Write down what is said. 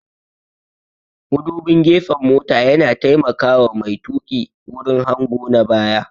Mudubin gefen mota yana taimaka wa mai tuƙi wurin hango na baya